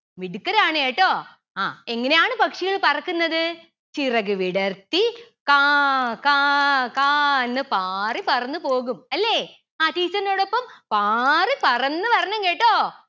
മിടുക്കരാണ് കേട്ടോ ആ എങ്ങനെയാണ് പക്ഷികൾ പറക്കുന്നത് ചിറകു വിടർത്തി കാ കാ കാന്ന് പാറി പറന്നു പോകും അല്ലെ ആ teacher ന്റോടൊപ്പം പാറി പറന്നു വരണം കെട്ടോ